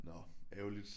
Nå ærgerligt